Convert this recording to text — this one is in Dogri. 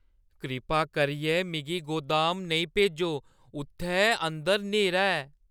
कृपा करियै मिगी गोदाम नेईं भेजो। उत्थै अंदर न्हेरा ऐ।